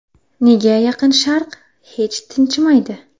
Nega Yaqin Sharq hech tinchimaydi?